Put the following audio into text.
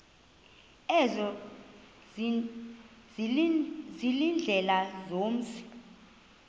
ezo ziindlela zomzi